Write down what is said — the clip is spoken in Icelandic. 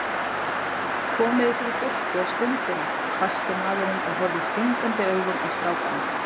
Komið ykkur í burtu á stundinni, hvæsti maðurinn og horfði stingandi augum á strákana.